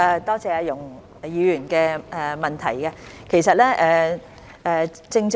多謝容議員的補充質詢。